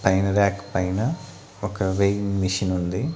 పైన రాక్ పైన ఒక వేయింగ్ మిషన్ ఉంది.